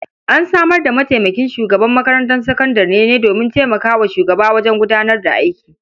An samar da mataimakin shugaban makarantar sakandare ne domin taimaka wa shugaba wajen gudanar da aiki.